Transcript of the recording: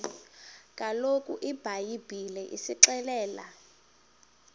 kaloku ibhayibhile isixelela